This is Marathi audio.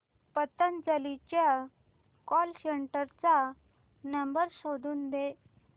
पतंजली च्या कॉल सेंटर चा नंबर शोधून दे